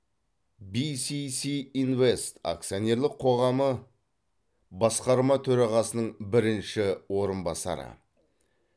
бисиси инвест акционерлік қоғамы басқарма төрағасының бірінші орынбасары